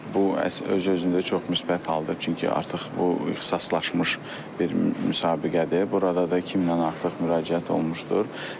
Bu öz-özlüyündə çox müsbət haldır, çünki artıq bu ixtisaslaşmış bir müsabiqədir, burada da 2000-dən artıq müraciət olunmuşdur.